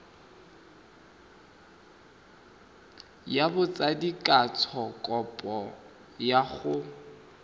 ya botsadikatsho kopo ya go